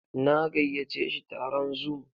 Na gayyace shi taron zoom.